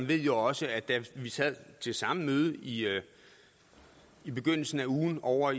ved jo også at da vi sad til samme møde i i begyndelsen af ugen ovre